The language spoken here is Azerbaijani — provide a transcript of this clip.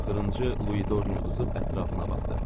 Axırıncı Lui Dornu uduzub ətrafına baxdı.